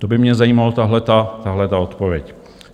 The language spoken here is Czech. To by mě zajímalo, tato odpověď.